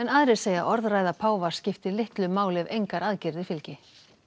aðrir segja að orðræða páfa skipti litlu máli ef engar aðgerðir fylgi